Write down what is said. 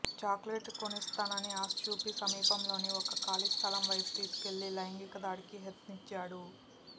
చాక్లెట్లు కొనిస్తానని ఆశచూపి సమీపంలోని ఓ ఖాళీ స్థలం వైపు తీసుకెళ్లి లైంగికదాడికి యత్నించాడు